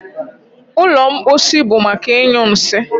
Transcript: ụlọ mposi bụ maka ịnyụ nsị